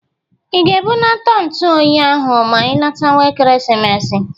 I ga-ebunata ntu oyi ahụ ma i latawa Ekeresimesi?